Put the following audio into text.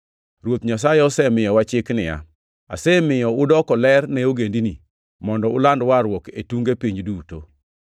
Ruoth Nyasaye osemiyowa chik niya, “ ‘Asemiyo udoko ler ne Ogendini, mondo uland warruok e tunge piny duto.’ + 13:47 \+xt Isa 49:6\+xt*”